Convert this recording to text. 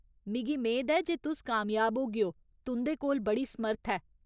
मिगी मेद ऐ जे तुस कामयाब होगेओ, तुं'दे कोल बड़ी समर्थ ऐ।